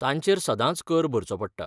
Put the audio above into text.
तांचेर सदांच कर भरचो पडटा.